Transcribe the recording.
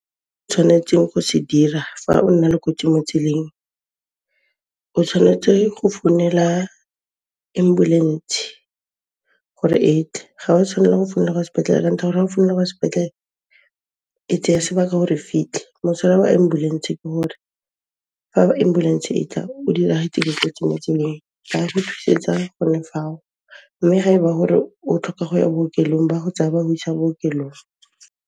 Tshwanetseng go se dira fa o na le kotsi mo tseleng, o tshwanetse go founela ambulentshe gore e tle. Ga wa tshwanela go founela kwa s'petlele ka ntlha ka gore fa o founela kwa sepetlele, e tseya sebaka gore e fitlhe. Mosola wa ambulentshe ke hore fa ba ambulentshe e tla o dirahetse le kotsi mo tseleng, ba re thusetsa gone fao mme ga eba gore o tlhoka go ya bookelong, ba go tsaya ba go isa bookelong.